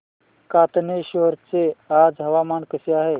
कातनेश्वर चे आज हवामान कसे आहे